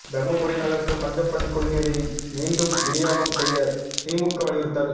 தருமபுரி நகருக்கு பஞ்சப்பள்ளி குடிநீரை மீண்டும் விநியோகம் செய்ய திமுக வலியுறுத்தல்